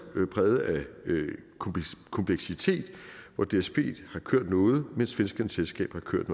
præget af kompleksitet hvor dsb har kørt noget mens svenskernes selskab har kørt